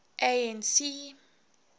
anc